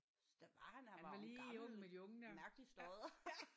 Så der var han han var jo en gammel mærkelig stodder